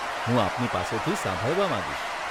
હું આપની પાસેથી સાંભળવા માંગીશ.